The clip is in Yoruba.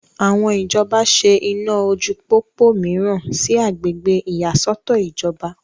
àwọn ìjọba ṣe iná ojú pópó mìíràn sí agbègbè ìyàsọ́tọ̀ ìjọba